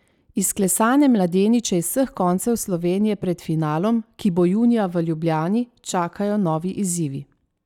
Izklesane mladeniče iz vseh koncev Slovenije pred finalom, ki bo junija v Ljubljani, čakajo novi izzivi.